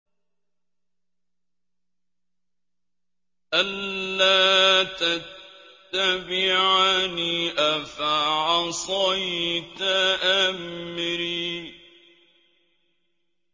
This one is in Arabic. أَلَّا تَتَّبِعَنِ ۖ أَفَعَصَيْتَ أَمْرِي